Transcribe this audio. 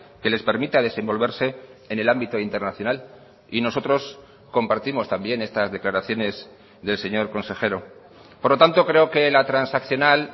que les permita desenvolverse en el ámbito internacional y nosotros compartimos también estas declaraciones del señor consejero por lo tanto creo que la transaccional